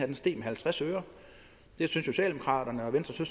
en steg med halvtreds øre socialdemokraterne og venstre